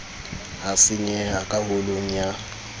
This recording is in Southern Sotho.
ha senyeha ka holong ya